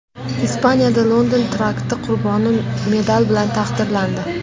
Ispaniyada London terakti qurboni medal bilan taqdirlandi.